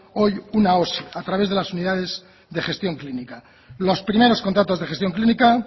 hoy una osi a través de las unidades de gestión clínica los primeros contratos de gestión clínica